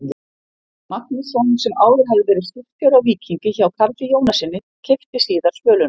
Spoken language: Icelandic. Magnússon, sem áður hafði verið skipstjóri á Víkingi hjá Karli Jónassyni, keypti síðar Svöluna.